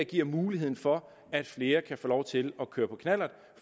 giver mulighed for at flere kan få lov til at køre på knallert